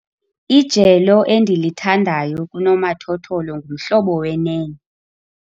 Ijelo endilithandayo kunomathotholo nguMhlobo wenene.